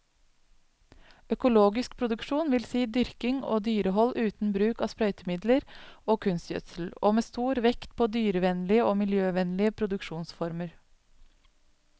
Økologisk produksjon vil si dyrking og dyrehold uten bruk av sprøytemidler og kunstgjødsel, og med stor vekt på dyrevennlige og miljøvennlige produksjonsformer.